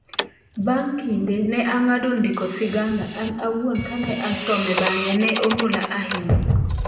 Bang' kinde, ne ang'ado ndiko siganda, an auon kane asome bang'e, ne omula ahinya.